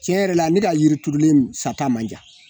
Tiɲɛ yɛrɛ la ne ka yiri turulen sata man jan